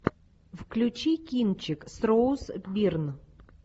включи кинчик с роуз бирн